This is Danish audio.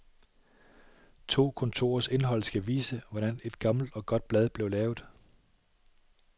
To kontorers indhold skal vise, hvordan et gammelt og godt blad blev lavet.